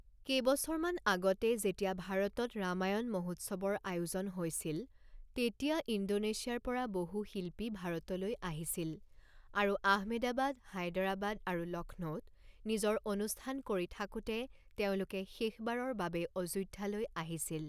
কেইবছৰমান আগতে যেতিয়া ভাৰতত ৰামায়ণ মহোৎসৱৰ আয়োজন হৈছিল তেতিয়া ইণ্ডোনেছিয়াৰ পৰা বহু শিল্পী ভাৰতলৈ আহিছিল আৰু আহমেদাবাদ, হায়দৰাবাদ আৰু লক্ষ্ণৌত নিজৰ অনুষ্ঠান কৰি থাকোঁতে তেওঁলোকে শেষবাৰৰ বাবে অযোধ্যালৈ আহিছিল।